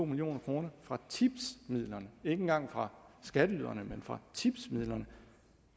million kroner fra tipsmidlerne ikke engang fra skatteyderne men fra tipsmidlerne